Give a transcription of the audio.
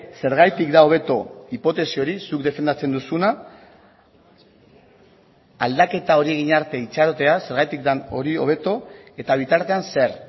zergatik da hobeto hipotesi hori zuk defendatzen duzuna aldaketa hori egin arte itxarotea zergatik den hori hobeto eta bitartean zer